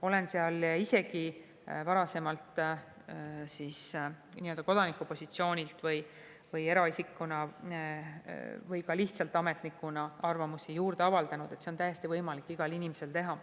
Olen seal ise ka varasemalt kodaniku positsioonilt või eraisikuna või ka lihtsalt ametnikuna arvamusi avaldanud, seda on täiesti võimalik igal inimesel teha.